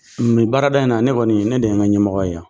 Nin baarada in na ne kɔni ne de n ka ɲɛmɔgɔ ye yan